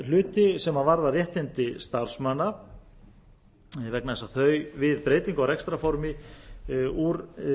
hluti sem varða réttindi starfsmanna vegna þess að við breytingu á rekstrarformi úr